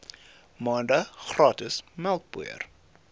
maande gratis melkpoeier